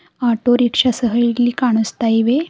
Auto rickshaw ಸಹ ಇಲ್ಲಿ ಕಾಣಿಸ್ತಾ ಇವೆ.